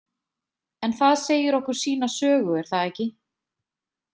En það segir okkur sína sögu, er það ekki?